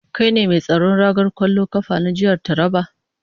Kai ne mai tsaron ragar kwallon kafa na jihar Taraba?